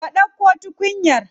Ka dauko tukunyar?